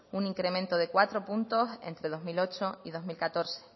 un incremento de cuatro puntos entre dos mil ocho y dos mil catorce